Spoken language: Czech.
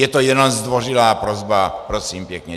Je to jenom zdvořilá prosba, prosím pěkně.